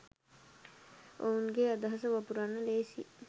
ඔවුන්ගේ අදහස වපුරන්න ලේසියි.